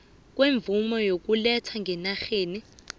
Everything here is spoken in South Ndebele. kwemvumo yokuletha ngenarheni